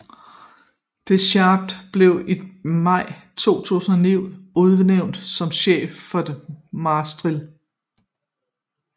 Deschamps blev i maj 2009 udnævnt som cheftræner for Marseille